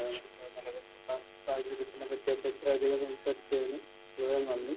നിലവിൽ ഇപ്പോൾ തിരഞ്ഞെടുപ്പിനെ പറ്റിയൊക്കെ ഇത്രയധികം സംസാരിച്ചതിന് വളരെ നന്ദി.